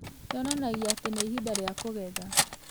yonanagia atĩ nĩ ihinda rĩa kũgetha.